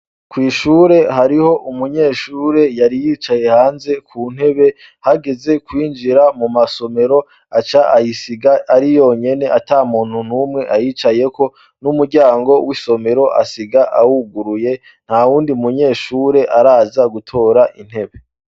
Kw'ishure hariho umunyeshure yari yicaye hanze ku ntebe hageze kwinjira mu masomero aca ayisiga ari yonyene ata muntu n'umwe ayicayeko n'umuryango w'isomero asiga awuguruye nta wundi munyeshure araza gutora intebe.